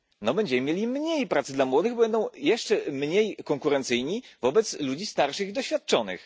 Będziemy mieli mniej pracy dla młodych, bo będą jeszcze mniej konkurencyjni wobec ludzi starszych i doświadczonych.